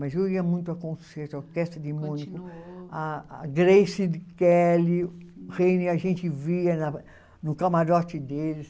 Mas eu ia muito a concerto, a Orquestra de Múnich, a Grace Kelly, a gente via no camarote deles.